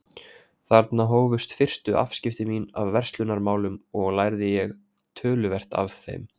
Þarna hófust fyrstu afskipti mín af verslunarmálum og lærði ég töluvert af þeim.